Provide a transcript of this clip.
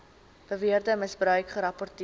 beweerde misbruik gerapporteer